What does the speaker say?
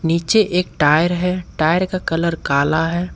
नीचे एक टायर है टायर का कलर काला है।